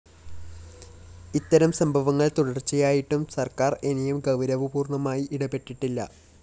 ഇത്തരം സംഭവങ്ങള്‍ തുടര്‍ച്ചയായിട്ടും സര്‍ക്കാര്‍ ഇനിയും ഗൗരവപൂര്‍വ്വമായി ഇടപെട്ടിട്ടില്ല